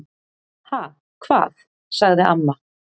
"""Ha, hvað? sagði amma."""